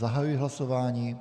Zahajuji hlasování.